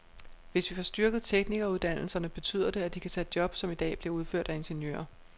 Hvis vi får styrket teknikeruddannelserne, betyder det, at de kan tage job, som i dag bliver udført af ingeniører.